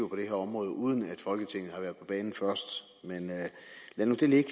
det her område uden at folketinget har været på banen først men lad nu det ligge